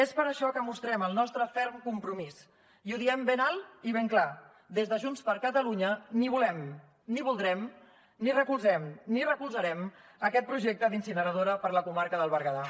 és per això que mostrem el nostre ferm compromís i ho diem ben alt i ben clar des de junts per catalunya ni volem ni voldrem ni recolzem ni recolzarem aquest projecte d’incineradora per a la comarca del berguedà